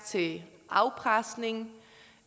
til afpresning